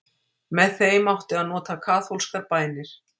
með þeim átti að nota kaþólskar bænir